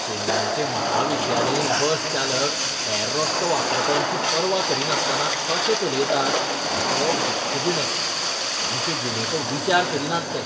चेन्नयचे महाविद्यालयीन बस चालक हेर रस्तो वापरप्यांची पर्वा करिनासतना कशें चलयतात हें पळोवप दुख्खदिणें. आमचे जिणेचो विचार करिनात ते.